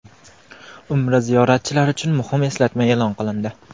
Umra ziyoratchilari uchun muhim eslatma e’lon qilindi.